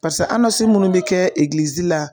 Parisa minnu bɛ kɛ la.